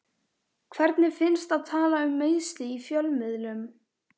Hvernig finnst að tala um meiðsli í fjölmiðlum?